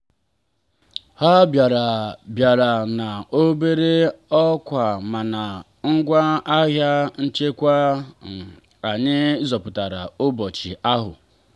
ha bịara bịara na obere ọkwa mana ngwa ahịa nchekwa anyị zọpụtara ụbọchị ahụ.